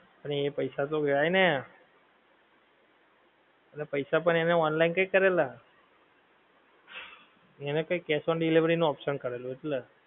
પણ એ પૈસા તો ગયા ને એટલે પૈસા પણ એણે online કંઈક કરેલા એને કંઈક cash on delivery નો option કરેલો એટલે